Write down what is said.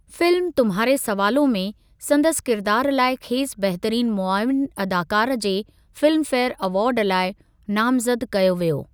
Film 'तुम्हारे सवालों में' संदसि किरिदारु लाइ खेसि बहितरीनु मुआविनु अदाकार जे फिल्म फेयर अवार्ड लाइ नामज़द कयो वियो।